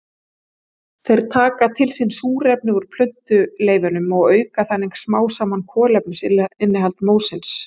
Þeir taka til sín súrefni úr plöntuleifunum og auka þannig smám saman kolefnisinnihald mósins.